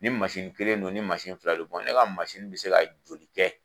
Ni kelen don, ni fila don, ne ka bi se ka joli kɛ ?